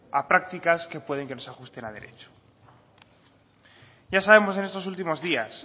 a prácticas que puede que no se ajusten a derecho ya sabemos en estos últimos días